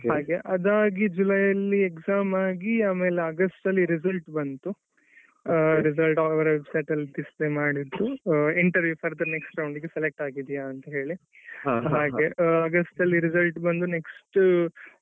ಹಾಗೆ ಅದಾಗಿ ಜುಲೈ ಅಲ್ಲಿ exam ಆಗಿ ಆಗಸ್ಟಿನಲ್ಲಿ result ಬಂತು. all over display ಮಾಡಿದ್ರು interview further next round ಗೆ select ಆಗಿದೀಯಾ ಅಂತ ಹೇಳಿ ಹಾಗೆ ಆಗಸ್ಟ್ ಲಿ resultಬಂದು next.